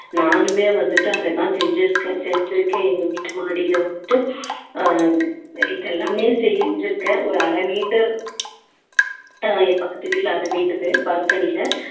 நானுமே வந்துட்டு அதெல்லாம் செஞ்சிருக்கேன் செஞ்சிருக்கேன் எங்க வீட்டு மாடியில வந்துட்டு ஆஹ் இது எல்லாமே செஞ்சிருக்கேன் ஒரு அரை meter ஆஹ் என் பக்கத்து வீட்டுல அரை meter உ balcony ல